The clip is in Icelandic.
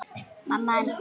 Stella systir er látin.